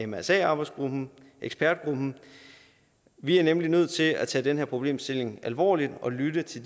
mrsa arbejdsgruppen ekspertgruppen vi er nemlig nødt til at tage den her problemstilling alvorligt og lytte til